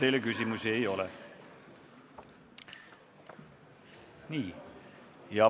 Teile küsimusi ei ole.